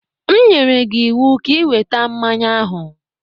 M nyere gị ịwụ ka ị weta mmanya ahụ!